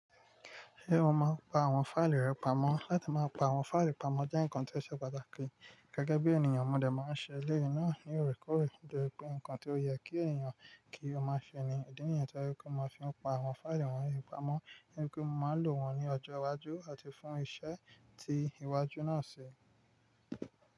Ṣé o máa ń pa àwọn fáìlì rẹ pamọ́? Látí máa pa àwọn fáìlì pamọ́ jẹ́ ǹkan tó ṣe pàtàkì, gẹ́gẹ́ bí ènìyàn, mò dè máa ń ṣe eleyii náà ní òrèkóòrè, nitori pé ǹkan tó yẹ kí ènìyàn kí ó máa ṣe ni. Idí nìyẹn tó je wipé mò maa fi ń pa àwọn fáìlì wọ̀nyí pamọ́, nitori pé mò máa lò wọ́n ní ọjọ́ iwájú, àti fún iṣẹ́ tí ìwájú náà ṣi.